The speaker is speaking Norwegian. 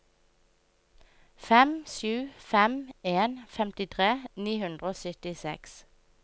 fem sju fem en femtitre ni hundre og syttiseks